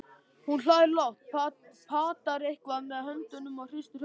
Hún hlær lágt, patar eitthvað með höndunum og hristir höfuðið.